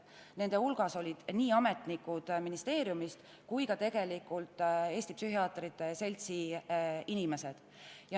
Nende hulgas oli nii ministeeriumi ametnikke kui ka Eesti Psühhiaatrite Seltsi inimesi.